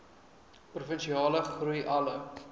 provinsiale groei alle